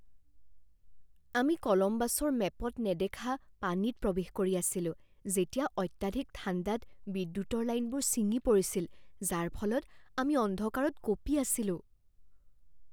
আমি কলম্বাছৰ মেপত নেদেখা পানীত প্ৰৱেশ কৰি আছিলো যেতিয়া অত্যাধিক ঠাণ্ডাত বিদ্যুতৰ লাইনবোৰ ছিঙি পৰিছিল, যাৰ ফলত আমি অন্ধকাৰত কঁপি আছিলোঁ।